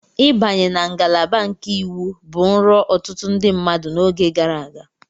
Ịbanye na ngalaba nke Iwu bụ nrọ ọtụtụ ndị mmadụ n'oge gara aga.